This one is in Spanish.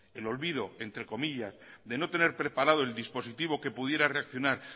el olvido entre comillas de no tener preparado el dispositivo que pudiera reaccionar